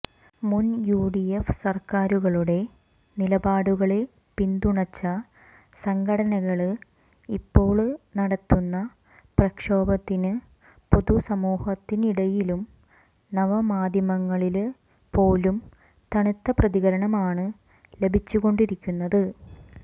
മുന് യുഡിഎഫ് സര്ക്കാരുകളുടെ നിലപാടുകളെ പിന്തുണച്ച സംഘടനകള് ഇപ്പോള് നടത്തുന്ന പ്രക്ഷോഭത്തിന് പൊതുസമൂഹത്തിനിടയിലും നവമാധ്യമങ്ങളില് പോലും തണുത്ത പ്രതികരണമാണ് ലഭിച്ചുകൊണ്ടിരിക്കുന്നത്